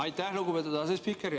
Aitäh, lugupeetud asespiiker!